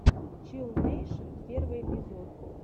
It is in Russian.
чилл нэйшен первый эпизод